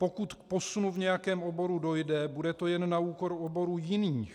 Pokud k posunu v nějakém oboru dojde, bude to jen na úkor oborů jiných.